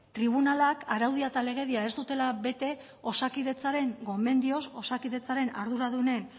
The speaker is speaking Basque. tribunalak araudia eta legedia ez dutela bete osakidetzaren gomendioz osakidetzaren arduradunen